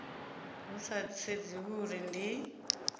hu sa sedziwi uri ndi